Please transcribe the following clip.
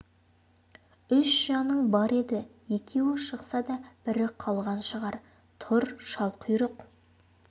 үш жаның бар еді екеуі шықса да бірі қалған шығар тұр шалқұйрық